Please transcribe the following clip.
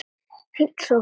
Fínn sófi!